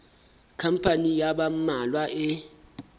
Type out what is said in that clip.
khampani ya ba mmalwa e